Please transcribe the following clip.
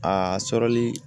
A sɔrɔli